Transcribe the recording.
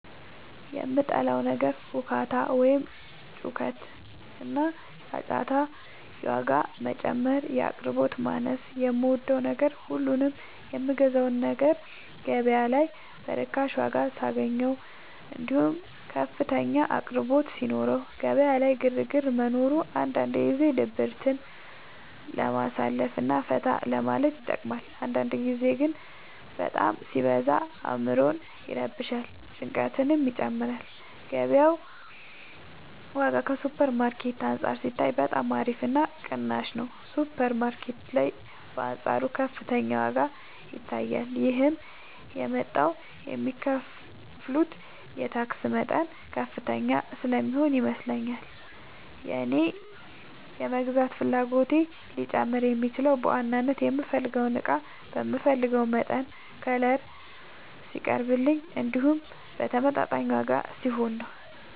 የምጠላው ነገር ሁካታ ወይም ጩኸትና ጫጫታ የዋጋ መጨመር የአቅርቦት ማነስ የምወደው ነገር ሁሉንም የምገዛውን ነገር ገበያ ላይ በርካሽ ዋጋ ሳገኘው እንዲሁም ከፍተኛ አቅርቦት ሲኖረው ገበያ ላይ ግርግር መኖሩ አንዳንድ ጊዜ ድብርትን ለማሳለፍ እና ፈታ ለማለት ይጠቅማል አንዳንድ ጊዜ ግን በጣም ሲበዛ አዕምሮን ይረብሻል ጭንቀትንም ይጨምራል የገበያው ዋጋ ከሱፐር ማርኬት አንፃር ሲታይ በጣም አሪፍ እና ቅናሽ ነው ሱፐር ማርኬት ላይ በአንፃሩ ከፍተኛ ዋጋ ይታያል ይህም የመጣው የሚከፍሉት የታክስ መጠን ከፍተኛ ስለሚሆን ይመስለኛል የእኔ የመግዛት ፍላጎቴ ሊጨምር የሚችለው በዋናነት የምፈልገው እቃ በምፈልገው መጠንና ከለር ሲቀርብልኝ እንዲሁም በተመጣጣኝ ዋጋ ሲሆን ነው።